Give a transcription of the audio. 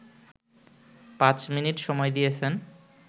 পাঁচ মিনিট সময় দিয়েছেন